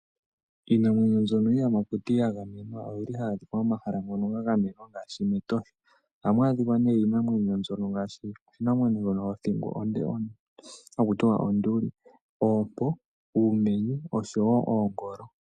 Iinamwenyo mbyono iiyamakuti yagamenwa oyili hayi adhikwa momahala mono mwa gamenwa ngaashi mEtosha. Ohamu adhika nee iinamwenyo mbyono ngaashi oshinamwenyo shono sho thingo onde haku tiwa onduli, oompo, uumenye oshowo oongolo.